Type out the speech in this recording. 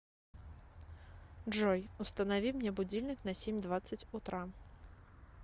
джой установи мне будильник на семь двадцать утра